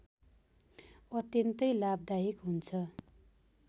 अत्यन्तै लाभदायक हुन्छ